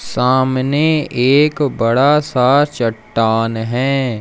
सामने एक बड़ा सा चट्टान है।